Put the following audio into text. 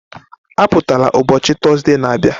Apụtala ụbọchị Tọzdee na-abịa